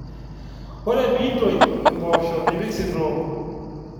Ore pee intoyie impoosho nipik sitoo